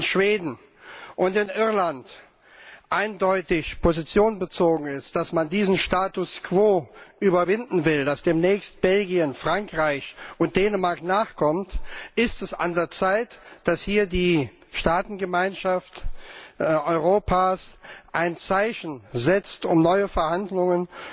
Schweden und Irland eindeutig Position bezogen worden ist, dass man diesen Status quo überwinden will, dass demnächst auch Belgien, Frankreich und Dänemark nachkommen, ist es an der Zeit, dass hier die Staatengemeinschaft Europas ein Zeichen setzt, um neue Verhandlungen